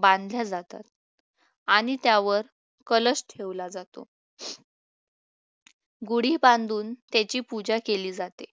बांधल्या जातात आणि त्यावर कलश ठेवला जातो गुढी बांधून त्याची पूजा केली जाते